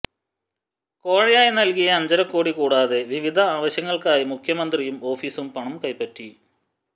കോഴയായി നല്കിയ അഞ്ചരകോടി കൂടാതെ വിവിധ ആവശ്യങ്ങള്ക്കായി മുഖ്യമന്ത്രിയും ഓഫീസും പണം കൈപ്പറ്റി